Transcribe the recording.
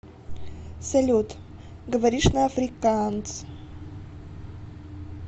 салют говоришь на африкаанс